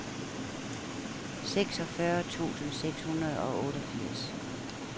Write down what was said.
seksogfyrre tusind seks hundrede og otteogfirs